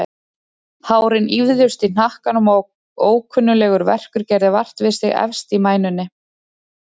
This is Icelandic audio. Hárin ýfðust í hnakkanum og ókunnuglegur verkur gerði vart við sig efst í mænunni.